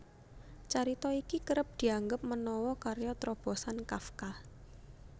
Carita iki kerep dianggep menawa karya trobosan Kafka